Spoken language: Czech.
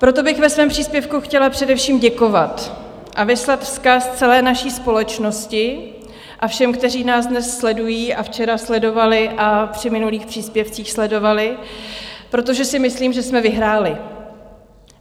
Proto bych ve svém příspěvku chtěla především děkovat a vyslat vzkaz celé naší společnosti a všem, kteří nás dnes sledují a včera sledovali a při minulých příspěvcích sledovali, protože si myslím, že jsme vyhráli.